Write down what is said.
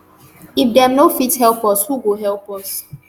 if dem no fit help us who go help us